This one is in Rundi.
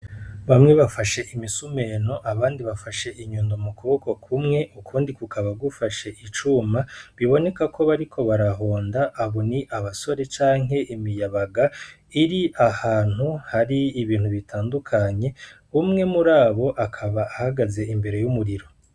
Bamwe bafashe imisumento abandi bafashe inyundo mu kuboko ukundi gufise icuma biboneka ko bariko bara honda abo ni abasore canke imiyabaga iri ahantu hari ibintu ibintu bitandukanye umwe murabo akaba ahagaze ahantu hari umuriro.